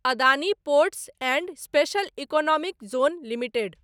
Adani ports and special economic zone limited